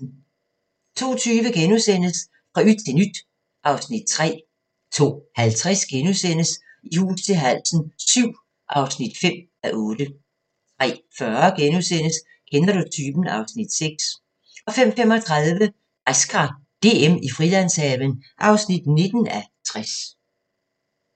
02:20: Fra yt til nyt (Afs. 3)* 02:50: I hus til halsen VII (5:8)* 03:40: Kender du typen? (Afs. 6)* 05:35: Græskar DM i Frilandshaven (19:60)